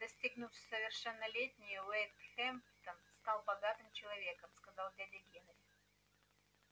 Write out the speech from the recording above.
достигнув совершеннолетия уэйд хэмптон стал богатым человеком сказал дядя генри